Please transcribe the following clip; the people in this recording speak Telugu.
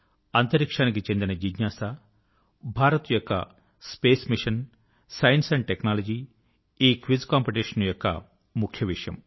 అంతరిక్షానికి చెందిన జిజ్ఞాస భారత్ యొక్క స్పేస్ మిశన్ సైన్స్ టెక్నాలజీ ఈ క్విజ్ కాంపిటీషన్ యొక్క ముఖ్య విషయం